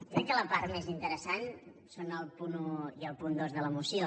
crec que la part més interessant són el punt un i el punt dos de la moció